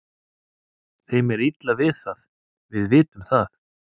Þeim er illa við það, við vitum það.